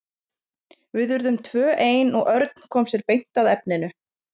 Við urðum tvö ein og Örn kom sér beint að efninu.